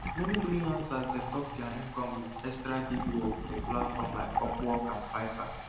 meni freelancers dey top dia income with extra gig work for platforms like upwork and fiverr